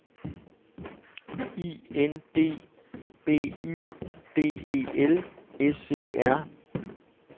I N D B Y D E L S E R